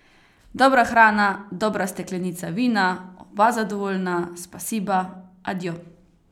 Dobra hrana, dobra steklenica vina, oba zadovoljna, spasiba, adio.